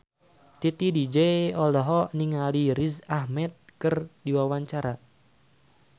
Titi DJ olohok ningali Riz Ahmed keur diwawancara